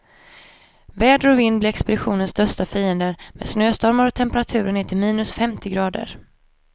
Väder och vind blir expeditionens största fiender, med snöstormar och temperaturer ner till minus femtio grader.